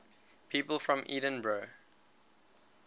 people from edinburgh